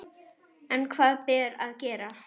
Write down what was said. En hvað ber að gera?